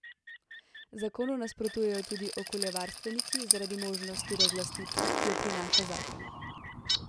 Zakonu nasprotujejo tudi okoljevarstveniki zaradi možnosti razlastitve, ki jo prinaša zakon.